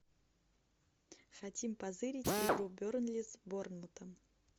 хотим позырить игру бернли с борнмутом